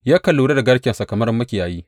Yakan lura da garkensa kamar makiyayi.